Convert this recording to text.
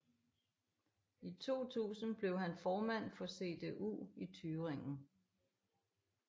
I 2000 blev han formand for CDU i Thüringen